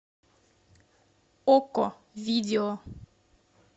окко видео